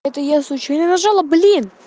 это я случаем не нажала блин